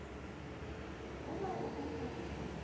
ge ba re o na